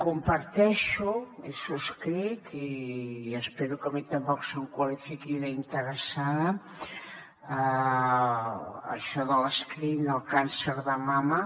comparteixo subscric i espero que a mi tampoc se’m qualifiqui d’interessada això de l’screening del càncer de mama